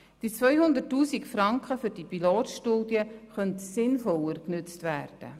Die 200 000 Franken für die Pilotstudie könnten sinnvoller genützt werden.